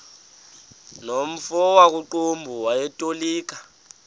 nomfo wakuqumbu owayetolika